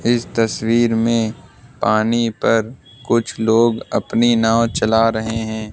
इस तस्वीर में पानी पर कुछ लोग अपनी नाव चला रहे हैं।